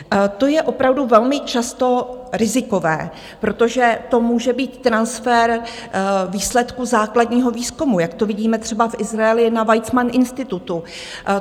To je opravdu velmi často rizikové, protože to může být transfer výsledku základního výzkumu, jak to vidíme třeba v Izraeli na Weizmann institutu.